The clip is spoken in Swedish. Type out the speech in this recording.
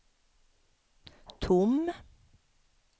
tom